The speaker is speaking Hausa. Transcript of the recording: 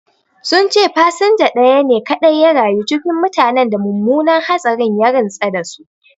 Sun ce fasinja ɗaya ne kaɗai ya rayu cikin mutanen da mummunan hatsarin ya rintsa da su